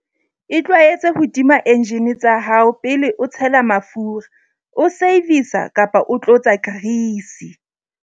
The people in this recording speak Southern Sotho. Itlwaetse ho tima enjine tsa hao pele o tshela mafura, o servisa kapa o tlotsa grease.